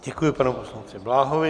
Děkuji panu poslanci Bláhovi.